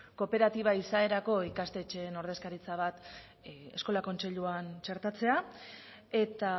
kooperatiba izaerako ikastetxeen ordezkaritza bat eskola kontseiluan txertatzea eta